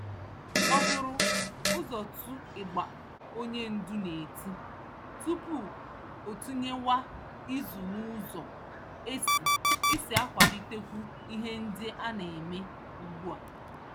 O buru ụzọ too ịgba onye ndú n'eti, tupu ọ tụnyewa ìzù n'ụzọ esi esi akwalitekwu ihe ndị aneme ùgbúà